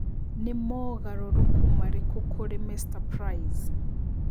Nĩ mongaruruku marĩkũ kũri Mr price